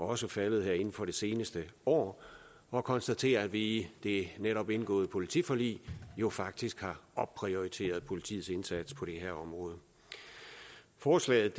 også faldet her inden for det seneste år og konstatere at vi i det netop indgåede politiforlig jo faktisk har opprioriteret politiets indsats på det her område forslaget